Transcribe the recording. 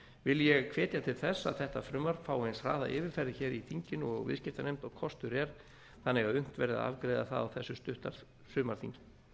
vil ég hvetja til þess að þetta frumvarp fái eins hraða yfirferð hér í þinginu og viðskiptanefnd og kostur er þannig að unnt verði að afgreiða það á þessu stutta sumarþingi